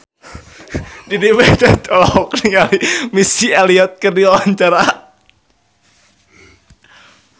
Dedi Petet olohok ningali Missy Elliott keur diwawancara